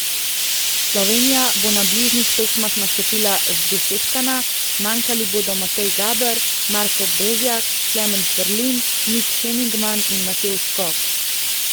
Slovenija bo na bližnjih tekmah nastopila zdesetkana, manjkali bodo Matej Gaber, Marko Bezjak, Klemen Ferlin, Nik Henigman in Matevž Skok.